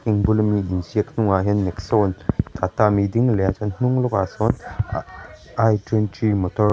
in bul ami in ziak bulah hian a ding leh a a hnung leh ah sawn i twenty motor --